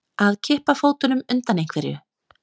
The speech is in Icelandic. Að kippa fótunum undan einhverju